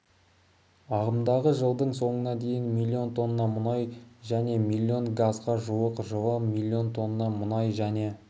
ағымдағы жылдың соңына дейін млн тонна мұнай және млн газға жуық жылы млн тонна мұнай және